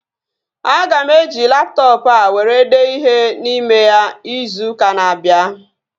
Aga m eji laptọọpụ a were dee ihe n'ime ya izu ụka na-abịa